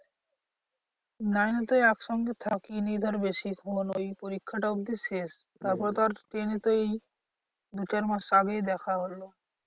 Nine এ তো একসঙ্গে থাকিনি ধর বেশিক্ষণ ওই পরীক্ষাটা অব্ধি শেষ। তারপরে তো আর ten এ তো এই দু চার মাস আগেই দেখা হলো।